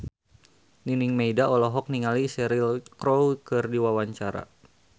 Nining Meida olohok ningali Cheryl Crow keur diwawancara